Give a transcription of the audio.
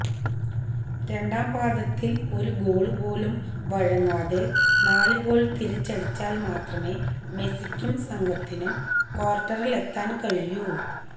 രണ്ടാം പാദത്തില് ഒരു ഗോള് പോലും വഴങ്ങാതെ നാല് ഗോള് തിരിച്ചടിച്ചാല് മാത്രമേ മെസിക്കും സംഘത്തിനും ക്വാര്ട്ടറിലെത്താന് കഴിയൂ